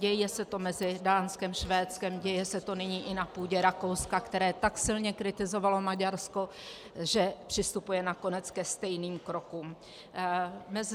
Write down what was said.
Děje se to mezi Dánskem, Švédskem, děje se to nyní i na půdě Rakouska, které tak silně kritizovalo Maďarsko, že přistupuje nakonec ke stejným krokům.